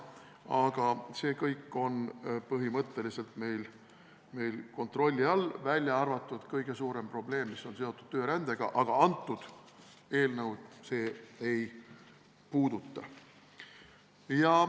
Aga see kõik on põhimõtteliselt meil kontrolli all, välja arvatud kõige suurem probleem, mis on seotud töörändega, aga see eelnõu seda ei puuduta.